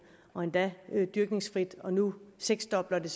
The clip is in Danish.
og endda dyrkningsfrit og nu seksdobler det